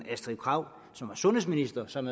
sundhedsministeren som